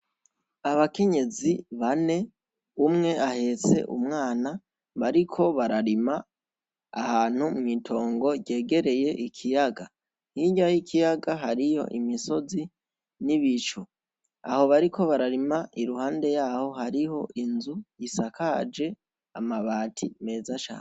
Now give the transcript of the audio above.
Abakenyezi bane umwe ahetse umwana bariko bararima ahantu mw’itongo ryegereye ikiyaga hirya y'ikiyaga hariyo imisozi n'ibicu aho bariko bararima iruhande yaho hariho inzu isakaje amabati meza cane.